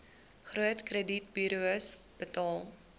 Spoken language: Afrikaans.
groot kredietburos betaal